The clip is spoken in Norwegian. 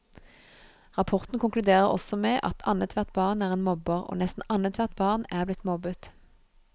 Rapporten konkluderer også med at annethvert barn er en mobber, og nesten annethvert barn er blitt mobbet.